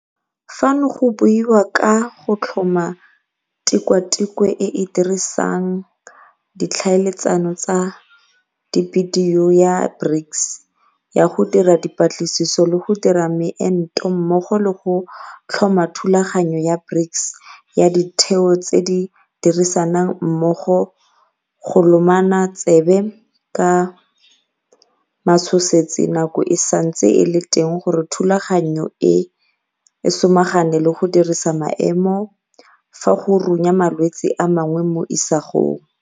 Fano go buiwa ka go tlhoma Tikwatikwe e e Dirisang Di tlhaeletsano tsa Dibidio ya BRICS ya go Dira Dipatlisiso le go Dira Meento mmogo le go tlhoma Thulaganyo ya BRICS ya Ditheo tse di Dirisanang Mmogo go Lomana Tsebe ka Matshosetsi Nako e Santse e le Teng gore thulaganyo eno e samagane le go disa maemo fa go runya malwetse a mangwe mo isagong.